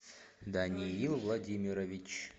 даниил владимирович